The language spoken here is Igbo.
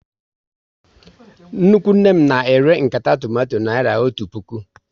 Nnukwu nne m na ere nkata tomato naira otu puku